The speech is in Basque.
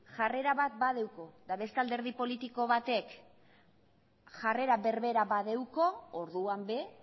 jarrera bat badauka eta beste alderdi politiko batek jarrera berbera badauka orduan ere